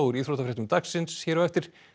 íþróttafréttir dagsins hér á eftir